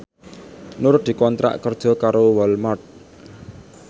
Nur dikontrak kerja karo Walmart